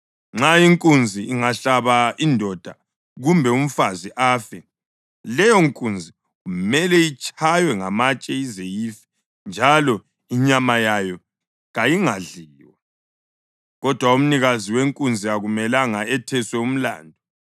Nxa inkunzi ingahlaba indoda kumbe umfazi afe, leyonkunzi kumele itshaywe ngamatshe ize ife njalo inyama yayo kayingadliwa. Kodwa umnikazi wenkunzi akumelanga etheswe umlandu.